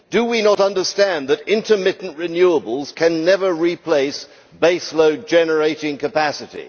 Do we not understand that intermittent renewables can never replace base-load generating capacity?